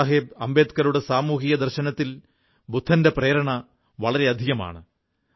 ബാബാ സാഹബ് അംബേഡ്കറുടെ സാമൂഹികക ദർശനത്തിൽ ബുദ്ധന്റെ പ്രേരണ വളരെയധികമാണ്